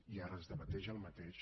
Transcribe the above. i ara es debat el mateix